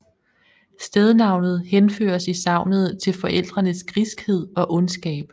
Stednavnet henføres i sagnet til forældrenes griskhed og ondskab